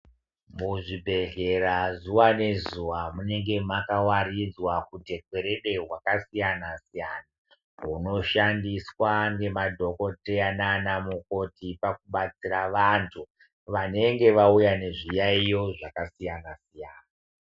Muzvibhedhlera zuva nezuva munenge makavaridzwa hutekwerede hwakasiyana-siyana. Hunoshandiswa ngemadhokoteya nanamukoti pakubatsira vantu vanenge vauya nezviyaiyo zvakasiyana-siyana.